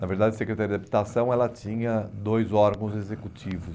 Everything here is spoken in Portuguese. Na verdade, a Secretaria da Habitação ela tinha dois órgãos executivos.